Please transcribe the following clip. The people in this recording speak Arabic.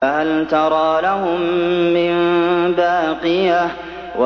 فَهَلْ تَرَىٰ لَهُم مِّن بَاقِيَةٍ